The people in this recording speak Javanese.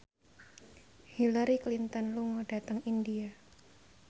Hillary Clinton lunga dhateng India